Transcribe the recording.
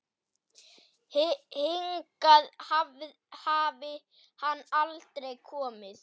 Hingað hafi hann aldrei komið.